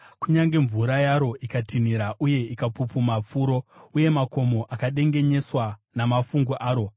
kunyange mvura yaro ikatinhira uye ikapupuma furo, uye makomo akadengenyeswa namafungu aro. Sera